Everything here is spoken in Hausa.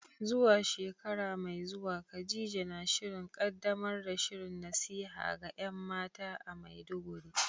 Zuwa shekara mai zuwa, Khadija na shirin kaddamar da shirin nasiha ga ‘yan mata a Maiduguri.